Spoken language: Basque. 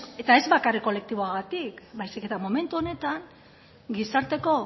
eta ez bakarrik kolektiboagatik baizik eta momentu honetan gizarteko